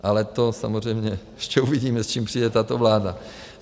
Ale to samozřejmě ještě uvidíme, s čím přijde tato vláda.